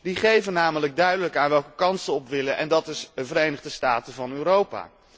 die geven namelijk duidelijk aan welke kant ze op willen en dat is de Verenigde Staten van Europa.